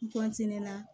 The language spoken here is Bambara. N